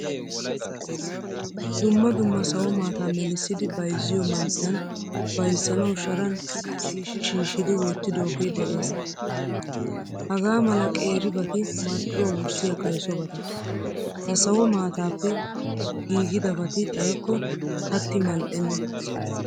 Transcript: Dumma dumma sawo maataa melissidi bayzziyo man'iyan bayzzanawu sharan shiishi shiishidi wottidoge de'ees. Hagaa mala qeeri bati marccuwaa wurssiyaa kaysobata. Ha sawo maataappe giigidabati xayikko katti mal'enna.